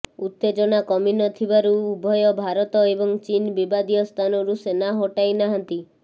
ଉତେଜନା କମି ନ ଥିବାରୁ ଉଭୟ ଭାରତ ଏବଂ ଚୀନ ବିବାଦୀୟ ସ୍ଥାନରୁ ସେନା ହଟାଇ ନାହାନ୍ତି